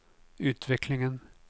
utvecklingen